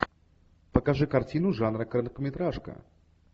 покажи картину жанра короткометражка